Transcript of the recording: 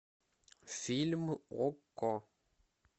фильм окко